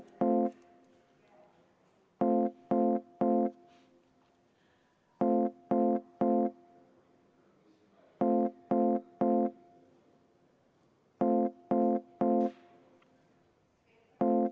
Sellest tulenevalt panengi teie ette lõpphääletusele Vabariigi Valitsuse algatatud toiduseaduse muutmise seaduse eelnõu.